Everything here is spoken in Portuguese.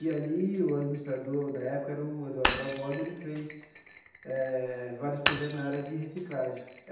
E ali o administrador, da época, era o Eduardo Barbosa, ele fez eh vários projetos na área de reciclagem.